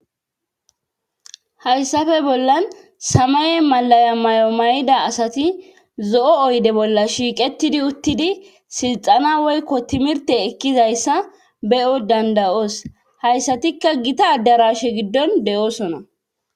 Hayssafe bollan samaye malaya mayo may7ida asati zo7o oyde bolla shiiqetidi uttidi silxana woykko timirte ekkizayssa be7o dandayoos hayssatikka gita addarashe giddon de7oosona.